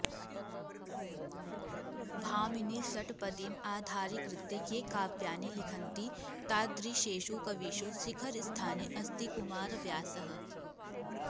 भामिनीषट्पदीम् आधारीकृत्य ये काव्यानि लिखन्ति तादृशेषु कविषु शिखरस्थाने अस्ति कुमारव्यासः